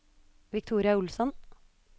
Victoria Olsson